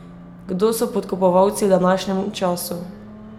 Kdo so podkupovalci v današnjem času?